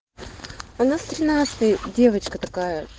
у нас тринадцатый девочка такая